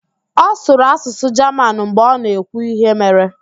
Ọ sụrụ asụsụ Jaman mgbe ọ na-ekwu íhé mere.